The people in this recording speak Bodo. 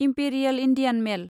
imperial Indian mail